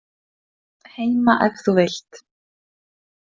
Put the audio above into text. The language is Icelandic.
Heima ef þú vilt.